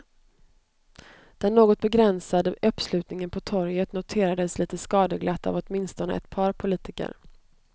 Den något begränsade uppslutningen på torget noterades lite skadeglatt av åtminstone ett par politiker.